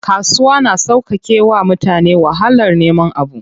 Kasuwa na sauƙake wa mutane wahalar neman abu.